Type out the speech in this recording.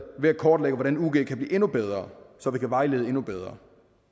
ved at kortlægge hvordan ug kan blive endnu bedre så vi kan vejlede endnu bedre